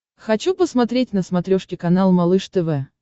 хочу посмотреть на смотрешке канал малыш тв